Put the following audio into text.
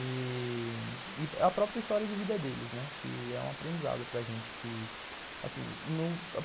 E a própria história de vida deles, né, que é um aprendizado para a gente que, assim,